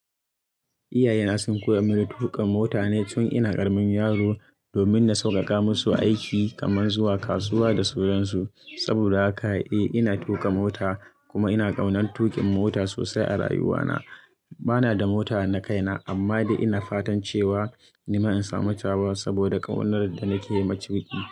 Iyaye na sun koya mini tuƙa mota ne tun ina ƙaramin yaro, domin na sauƙaƙa musu aiki kamar zuwa kasuwa da sauran su. Saboda haka, eh ina tuka mota kuma ina ƙaunar tukin mota sosai a rayuwa na. Bana da mota na kaina, amma dai ina fatan cewa nima in samu tawa saboda ƙaunar da nake yi ma ciniki.